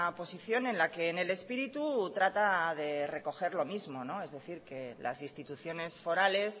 posición en la que en el espíritu trata de recoger lo mismo es decir que las instituciones forales